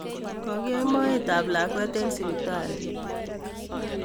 Kokiyeny moet tab lakwet eng sipitali